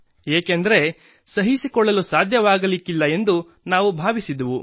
ಏಕೆಂದರೆ ಸಹಿಸಿಕೊಳ್ಳಲು ಸಾಧ್ಯವಾಗಲಿಕ್ಕಿಲ್ಲ ಎಂದು ನಾವು ಭಾವಿಸಿದ್ದೆವು